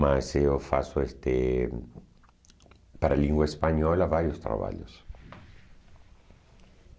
Mas eu faço este para a língua espanhola vários trabalhos.